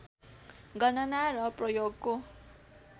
गणना र प्रयोगको